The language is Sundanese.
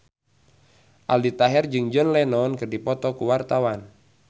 Aldi Taher jeung John Lennon keur dipoto ku wartawan